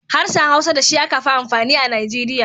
Harshen Hausa da shi aka fi amfani a Nigeria.